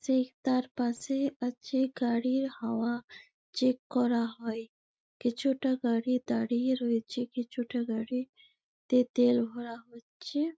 সে তার পাশে আছে গাড়ির হাওয়া চেক করা হয় কিছুটা গাড়ি দাঁড়িয়ে রয়েছে কিছুটা গাড়ি তে তেল ভরা হচ্ছে।